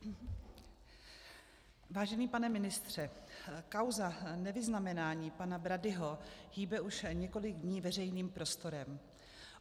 Vážený pane ministře, kauza nevyznamenání pana Bradyho hýbe už několik dní veřejným prostorem.